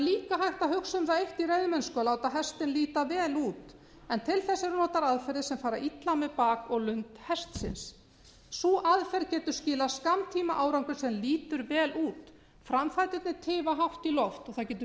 hægt að hugsa um það eitt í reiðmennsku að láta hestinn líta vel út en til þess eru notaðar aðferðir sem fara illa með bak og lund hestsins sú aðferð getur skilað skammtímaárangri sem lítur út framfæturnir tifa hátt í loft og það getur